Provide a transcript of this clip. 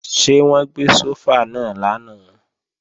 Ṣé wọ́n gbé sófà náà lánàá?